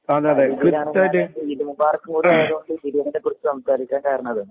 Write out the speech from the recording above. ഈദ് മുബാറക്കായതുകൊണ്ട് ഭക്ഷണത്തെ കുറിച്ച് സംസാരിക്കാൻ കാരണം.